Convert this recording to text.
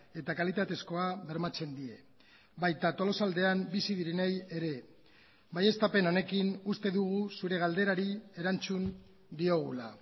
eta kalitatezkoa bermatzen die baita tolosaldean bizi direnei ere baieztapen honekin uste dugu zure galderari erantzun diogula